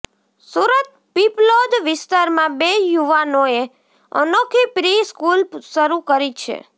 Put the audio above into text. સુરતઃ પીપલોદ વિસ્તારમાં બે યુવાનોએ અનોખી પ્રી સ્કૂલ શરૂ કરી છે